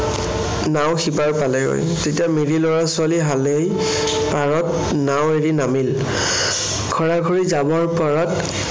নাও সিপাৰ পালেগৈ। তেতিয়া মিৰি লৰা-ছোৱালী হালেই পাৰত নাও এৰি নামিল। ঘৰাঘৰি যাবৰ পৰত